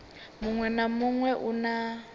muṅwe na muṅwe u na